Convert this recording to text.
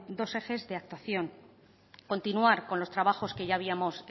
dos ejes de actuación continuar con los trabajos que ya habíamos